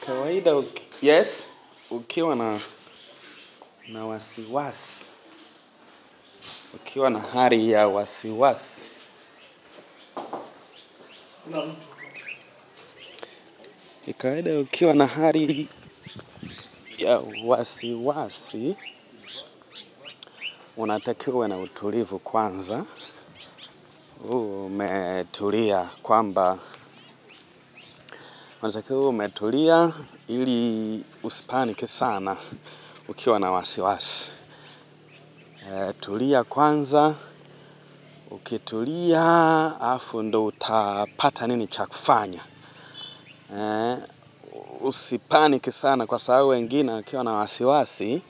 Kawaida ukiwa na ukiwa na hali ya wasiwasi ukiwa na hali ya wasiwasi, unatakiwa uwe na utulivu kwanza, uwe umetulia kwamba, unatakiwa uwe umetulia ili usipanick sana ukiwa na wasiwasi. Tulia kwanza, ukitulia alafu ndo utapata nini chakufanya. Usipaniki sana kwa sababu wengine wakiwa na wasiwasi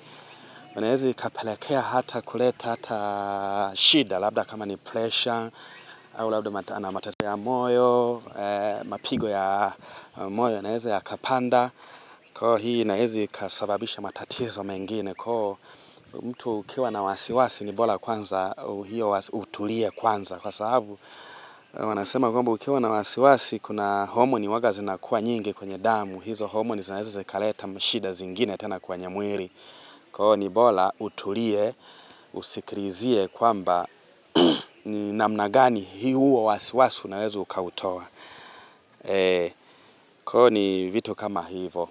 inaeza ikapelekea hata kuleta hata shida labda kama ni pressure au labda mateso ya moyo. Mapigo ya moyo yanaeza ya kapanda. Kwa hii inaeza ikasababisha matatizo mengine. Kwa mtu ukiwa na wasiwasi ni bora kwanza utulie kwanza. Kwa sababu, wanasema kwamba ukiwa na wasiwasi, kuna homoni huwaga zinakuwa nyingi kwenye damu. Hizo homoni zinaweza zikaleta mashida zingine tena kwenye mwili. Kwa ni bora utulie, usikilizie kwamba ni namna gani huo wasiwasi unawezo ukautoa. Ni vitu kama hivo.